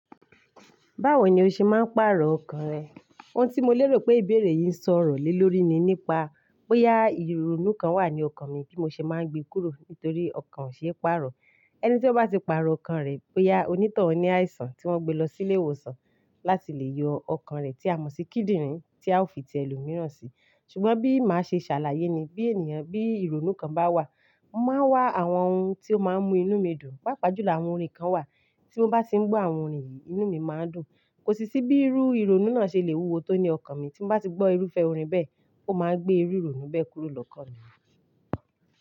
Báwo ni o ṣe máa ń pàrọ̀ ọkàn rẹ? Ohun tí mo lérò pé ìbéèrè yìí ń sọ ọ̀rọ̀ lé lórí ni nípa bóyá ìrònú kan wà ní ọkàn mi bí mo ṣe máa ń gbé kúrò nítorí ọkàn ṣe é pàrọ̀. Ẹni tí ó bá ti pàrọ̀ ọkàn rẹ bóyá onítàn òní àìsàn tí wọ́n gbé lọ sí ilé ìwòsàn láti lè yọ ọkàn rẹ̀ tí a mọ̀ sí kíndìnrín tí a ó fi tẹ èlò mìíràn si. Ṣùgbọ́n bí màá ṣe ṣàlàyé ni bí ènìyàn bí ìrònú kan bá wà, máa wà àwọn ohun tí ó máa ń mú inú mi dùn, pàápàá jùlọ àwọn orin kan wà tí mo bá ti ń gbọ́ àwọn orin yìí, inú mi máa ń dùn. Kò sì sí bí irú ìrònú náà ṣe lè wúwo tó ní ọkàn mi tí mo bá ti gbọ́ irúfẹ́ orin bẹ́ẹ̀, ó máa gbé irú ìrònú bẹ́ẹ̀ kúrò lọ́kàn mi.